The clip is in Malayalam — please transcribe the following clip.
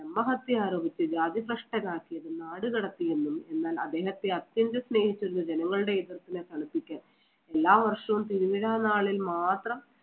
ബ്രഹ്മഹത്യ ആരോപിച്ച് ജാതിഭ്രഷ്ടനാക്കി നാട് കടത്തിയെന്നും എന്നാൽ അദ്ദേഹത്തെ അത്യന്തം സ്നേഹിച്ചിരുന്ന ജനങ്ങളുടെ എതിർപ്പിനെ തണുപ്പിക്കാൻ തുലാവർഷം തിരുവിഴാം നാളിൽ മാത്രം